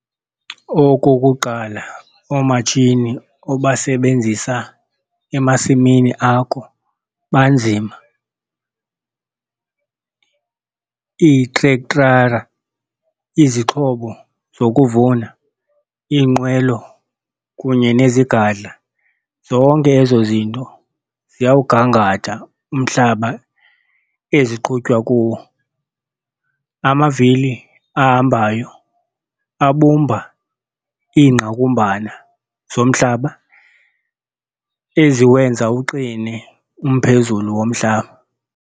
Okokuqala, oomatshini obasebenzisa emasimini akho banzima. Iitrektara, izixhobo zokuvuna, iinqwelo kunye nezigadla zonke ezo zinto ziyawugangatha umhlaba eziqhutywa kuwo. Amavili ahambayo abumba iingqakumbana zomhlaba eziwenza uqine umphezulu womhlaba.